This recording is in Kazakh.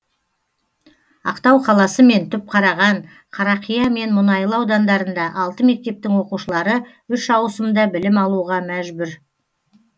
ақтау қаласы мен түпқараған қарақия және мұнайлы аудандарында алты мектептің оқушылары үш ауысымда білім алуға мәжбүр